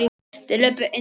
Þeir löbbuðu inn í bæinn.